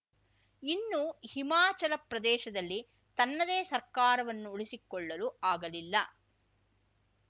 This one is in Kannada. ಇನ್ನು ಹಿಮಾಚಲ ಪ್ರದೇಶದಲ್ಲಿ ತನ್ನದೇ ಸರ್ಕಾರವನ್ನು ಉಳಿಸಿಕೊಳ್ಳಲು ಆಗಲಿಲ್ಲ